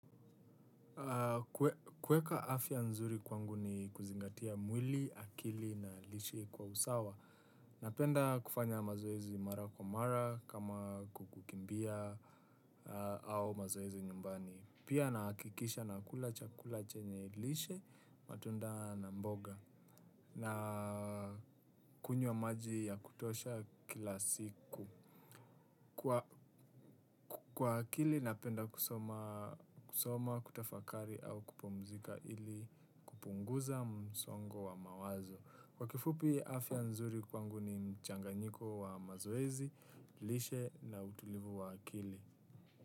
Kuweka afya nzuri kwangu ni kuzingatia mwili, akili na lishi kwa usawa. Napenda kufanya mazoezi mara kwa mara kama kukukimbia au mazoezi nyumbani. Pia nahakikisha nakula chakula chenye lishe matunda na mboga na kunywa maji ya kutosha kila siku. Kwa akili napenda kusoma kusoma kutafakari au kupumzika ili kupunguza msongo wa mawazo. Kwa kifupi afya nzuri kwangu ni mchanganyiko wa mazoezi, lishe na utulivu wa akili.